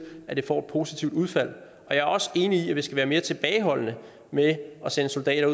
at det får et positivt udfald og jeg er også enig i at vi skal være mere tilbageholdende med at sende soldater